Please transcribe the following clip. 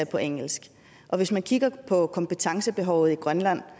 på engelsk og hvis vi kigger på kompetencebehovet i grønland